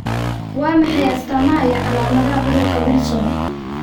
Waa maxay astamaha iyo calaamadaha cudurka Wilson?